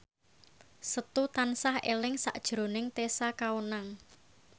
Setu tansah eling sakjroning Tessa Kaunang